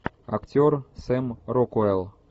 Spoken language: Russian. актер сэм рокуэлл